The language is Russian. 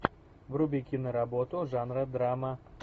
вруби киноработу жанра драма